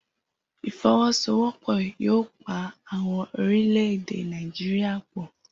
ifowosowopo yoo pa awọn orilẹ-ede Náìjíría pọ.